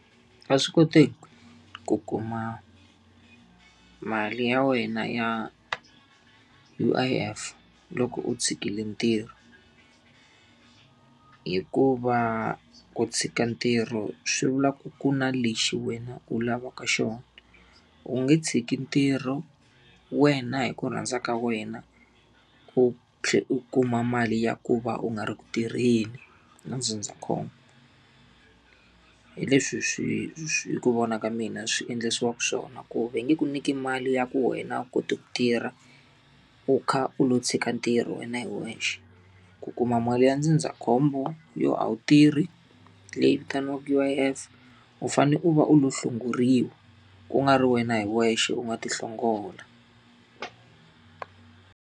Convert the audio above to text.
A swi koteki ku kuma mali ya wena ya U_I_F loko u tshikile ntirho. Hikuva ku tshika ntirho swi vula ku ku na lexi wena u lavaka xona. U nge tshiki ntirho wena hi ku rhandza ka wena, u thlela u kuma mali ya ku va u nga ri ku tirheni na ndzindzakhombo. Hi leswi swi swi hi ku vona ka mina swi endlisiwaka swona. Ku va nge ku nyiki mali ya ku wena a wu koti ku tirha, u kha u lo tshika ntirho wena hi wexe. Ku kuma mali ya ndzindzakhombo yo a wu tirhi, leyi vitaniwaka U_I_F u fanele u va u lo hlongoriwa ku nga ri wena hi wexe u nga lo ti hlongola.